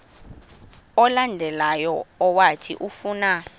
olandelayo owathi ufuna